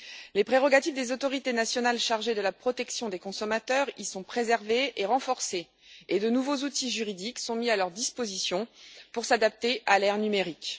Les prérogatives des autorités nationales chargées de la protection des consommateurs y sont préservées et renforcées et de nouveaux outils juridiques sont mis à leur disposition pour s'adapter à l'ère numérique.